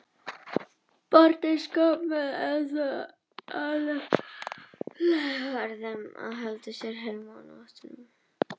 Börnin skömmuð einsog eðlilegt var og þeim sagt að halda sig heima á nóttunni.